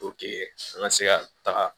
an ka se ka taga